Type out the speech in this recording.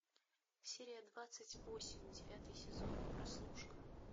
серия двадцать восемь девятый сезон прослушка